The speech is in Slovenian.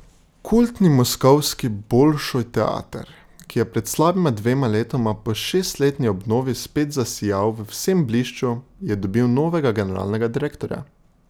Kultni moskovski Bolšoj teater, ki je pred slabima dvema letoma po šestletni obnovi spet zasijal v vsem blišču, je dobil novega generalnega direktorja.